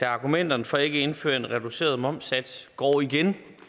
argumenterne for ikke at indføre en reduceret momssats går igen